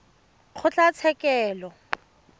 kgotlatshekelo